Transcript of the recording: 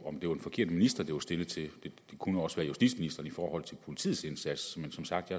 om det var en forkert minister det var stillet til det kunne også være justitsministeren i forhold til politiets indsats men som sagt